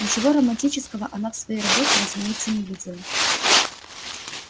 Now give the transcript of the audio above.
ничего романтического она в своей работе разумеется не видела